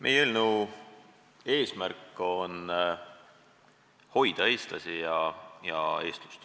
Meie eelnõu eesmärk on hoida eestlasi ja eestlust.